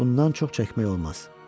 Bundan çox çəkmək olmaz.